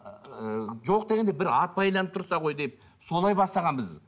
ыыы жоқ дегенде бір ат байланып тұрса ғой деп солай бастағанбыз